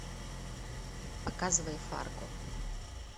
показывай фарго